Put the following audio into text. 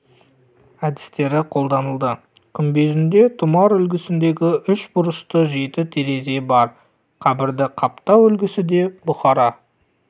әдістері қолданылды күмбезінде тұмар үлгісіндегі үш бұрышты жеті терезе бар қабірді қаптау үлгісі де бұхара